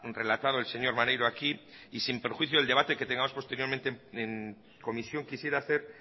relatado el señor maneiro aquí y sin perjuicio del debate que tengamos posteriormente en comisión quisiera hacer